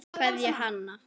Kveðja, Hanna.